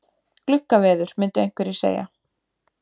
Gluggaveður myndu einhverjir segja.